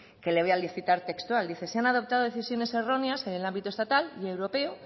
que le voy a citar textual dice se han adoptado decisiones erróneas en el ámbito estatal y europeo